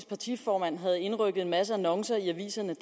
partiformand havde indrykket en masse annoncer i aviserne